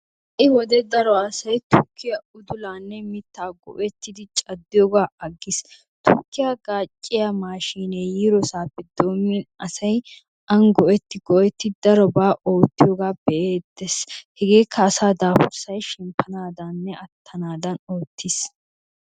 Ha'i wodiya daro asay tukkiya uddulanne mitta go''ettidi caddiyooga aggiis. Tukkiya gaacciya mashinee yiidosape doomin asay an go''etti go''etti daroba oottiyooga be'eettees. Hegekka asaa daafurssay shemppanadaninne attanadan oottiyooge ootiis.